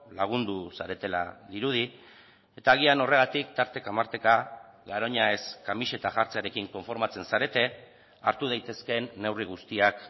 lagundu zaretela dirudi eta agian horregatik tarteka marteka garoña ez kamiseta jartzearekin konformatzen zarete hartu daitezkeen neurri guztiak